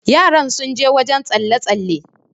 yara sun je wajen tsalle- tsalle